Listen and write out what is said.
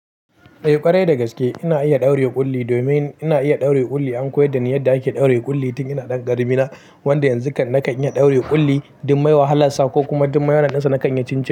Eh ƙwarai da gaske ina iya ɗaure ƙulli domin ina iya ɗaure ƙulli an koyi da ni yadda ake ɗaure ƙulli tun ina ɗan ƙarami na wanda yanzu naka in iya ɗaure ƙulli dumai wahalarsa ko kuma dumai awansa naka in ci cincin.